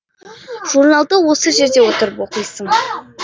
журналды осы жерде отырып оқисың